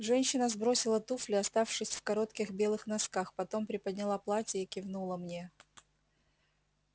женщина сбросила туфли оставшись в коротких белых носках потом приподняла платье и кивнула мне